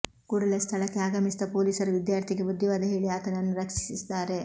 ಕೂಡಲೇ ಸ್ಥಳಕ್ಕೆ ಆಗಮಿಸಿದ ಪೊಲೀಸರು ವಿದ್ಯಾರ್ಥಿಗೆ ಬುದ್ಧಿವಾದ ಹೇಳಿ ಆತನನ್ನು ರಕ್ಷಿಸಿದ್ದಾರೆ